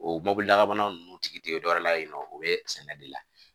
O mobili laban nunnu tigi tɛ dɔ wɛrɛ la yen nɔ o bɛ sɛnɛ de la